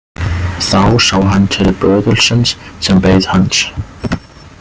Þá sá hann til böðulsins sem beið hans.